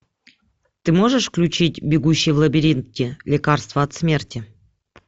ты можешь включить бегущий в лабиринте лекарство от смерти